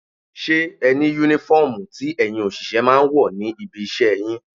Ṣé ẹni Únífọ́ọ̀mù tí ẹ̀yin òṣìṣẹ́ máa ń wọ̀ ní ibi iṣẹ́ yín?